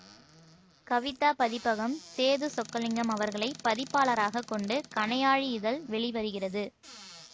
கவிதா பதிப்பகம் சேது சொக்கலிங்கம் அவர்களை பதிப்பாளராகக் கொண்டு கணையாழி இதழ் வெளிவருகிறது